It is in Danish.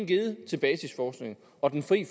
givet til basisforskning og den fri